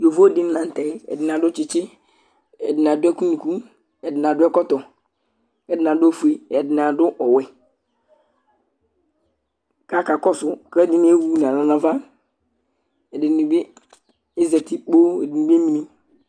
Yovo dɩnɩ la nʋ tɛ Ɛdɩnɩ adʋ tsɩtsɩ Ɛdɩnɩ adʋ ɛkʋ nʋ unuku Ɛdɩnɩ adʋ ɛkɔtɔ kʋ ɛdɩnɩ adʋ ofue, ɛdɩnɩ adʋ ɔwɛ kʋ akakɔsʋ kʋ ɛdɩnɩ emu nʋ alɔ nʋ ava Ɛdɩnɩ bɩ azati kpoo Ɛdɩnɩ bɩ emli